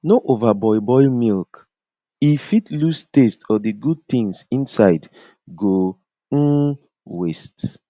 no overboil boil milk e fit lose taste or the good things inside go um waste